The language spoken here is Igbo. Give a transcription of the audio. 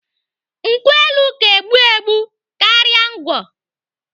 Nkwụ elu ka egbu egbu karịa ngwọ.